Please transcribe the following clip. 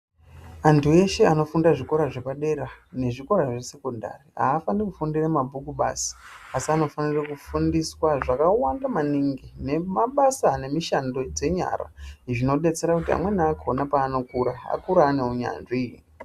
Antu eshe anofunda zvikora zvepadera nezvikora zvesekondari. Hafaniri kufundira mabhuku basi asi anofanira kufundiswa zvakawanda maningi nemabasa nemishando dzenyara. Izvi zvinobetsera kuti amweni akona paanokura akure ane unyanzvi.